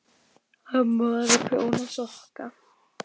Amma var að prjóna sokka.